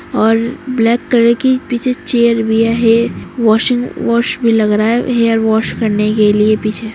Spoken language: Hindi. और ब्लैक कलर की पीछे चेयर भी है ये वाशिंग वाश में लग रहा है हैयर वाश करने के लिए पीछे--